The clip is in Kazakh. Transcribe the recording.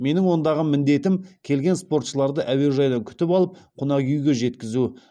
менің ондағы міндетім келген спортшыларды әуежайдан күтіп алып қонақ үйге жеткізу